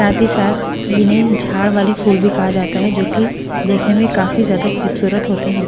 साथ ही साथ इन्हें झाड़ वाले फूल भी कहा जाता है जो की देखने में काफी ज्यादा खूबसूरत होते हैं।